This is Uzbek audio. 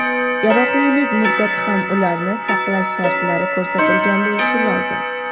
yaroqlilik muddati hamda ularni saqlash shartlari ko‘rsatilgan bo‘lishi lozim:.